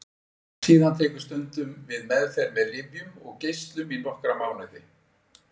Síðan tekur stundum við meðferð með lyfjum og geislum í nokkra mánuði.